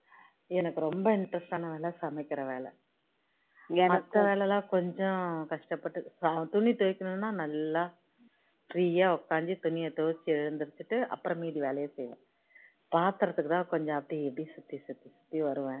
மத்த வேலை எல்லாம் கொஞ்ச கஷ்டப்பட்டு துணி துவைக்கணும்னா நல்லா free யா உட்கார்ந்து துணிய துவைச்சு எழுந்திருச்சிட்டு அப்பறோம் மீதி வேலைய செய்வேன் பாத்திரத்துக்குதான் கொஞ்சம் அப்படி இப்படி சுத்தி சுத்தி வருவேன்